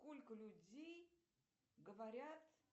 сколько людей говорят